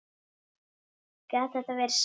Gat þetta verið satt?